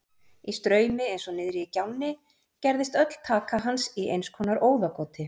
Í straumi eins og niðri í gjánni gerðist öll taka hans í einskonar óðagoti.